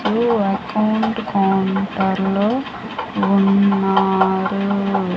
New account counter లో ఉన్నారు.